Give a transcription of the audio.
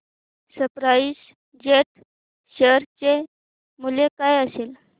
spice jet share चे मूल्य काय असेल